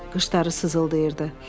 Qışları sızıldayırdı.